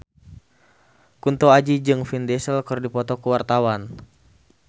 Kunto Aji jeung Vin Diesel keur dipoto ku wartawan